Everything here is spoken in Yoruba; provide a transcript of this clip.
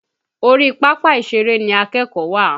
Orí papa ìṣèrè ni akẹ́kọ̀ọ́ wà.